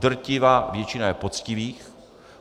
Drtivá většina je poctivých.